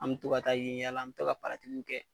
An mi to ka taa yen yala an mi to ka kɛ.